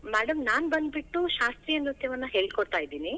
ಹಾ madam ನಾನ್ ಬಂದ್ಬಿಟ್ಟು ಶಾಸ್ತ್ರೀಯ ನೃತ್ಯವನ್ನ ಹೇಳಿ ಕೊಡ್ತಾ ಇದೀನಿ.